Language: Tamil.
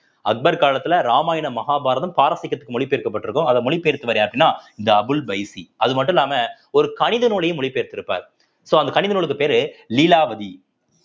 அக்பர் காலத்துல ராமாயணம், மகாபாரதம் பாரசீகத்துக்கு மொழி பெயர்க்கப்பட்டிருக்கும் அத மொழி பெயர்த்தவர் யாருன்னா இந்த அபுல் பைசி அது மட்டும் இல்லாம ஒரு கணித நூலையும் மொழி பெயர்த்திருப்பார் so அந்த கணித நூலுக்கு பேரு லீலாவதி